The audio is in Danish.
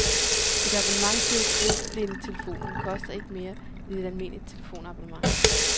Et abonnement til døvblindetelefonen koster ikke mere end et almindeligt telefonabonnement.